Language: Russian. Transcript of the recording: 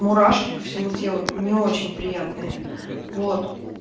мурашки по всему телу не очень приятные вот